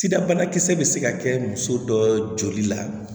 Sida banakisɛ bɛ se ka kɛ muso dɔ joli la